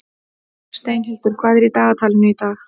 Steinhildur, hvað er í dagatalinu í dag?